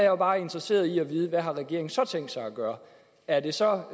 jo bare interesseret i at vide hvad regeringen så har tænkt sig at gøre er det så